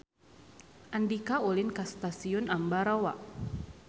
Andika ulin ka Stasiun Ambarawa